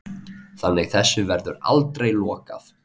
Þannig að þessu verður aldrei lokað